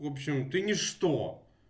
в общем ты ничто